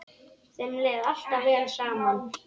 Þeim leið alltaf vel saman.